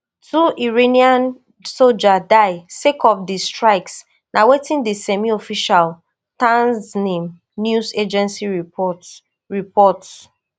two iranian soldiers die sake of di strikes na wetin di semiofficial tasnim news agency report report